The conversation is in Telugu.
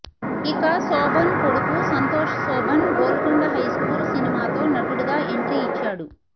ఇక శోభన్ కొడుకు సంతోష్ శోభన్ గోల్కొండ హై స్కూల్ సినిమాతో నటుడుగా ఎంట్రీ ఇచ్చాడు